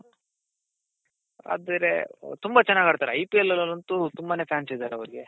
ಆದ್ರೆ ತುಂಬಾ ಚೆನ್ನಾಗ್ ಆಡ್ತಾರೆ IPL ಅಲಂತು ತುಂಬಾನೆ fans ಇದಾರೆ ಆವೃಗೆ